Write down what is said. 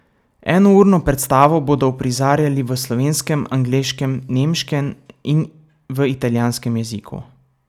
Enourno predstavo bodo uprizarjali v slovenskem, angleškem, nemškem in v italijanskem jeziku.